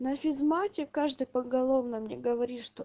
на физмате каждый поголовно мне говорит что